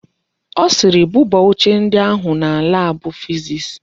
Ọ sịịrị, buba oche ndi ahụ na laabụ fiziks.